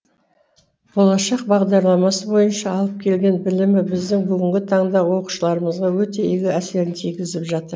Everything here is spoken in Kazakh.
болашақ бағдарламасы бойынша алып келген білімі біздің бүгінгі таңда оқушыларымызға өте игі әсерін тигізіп жатыр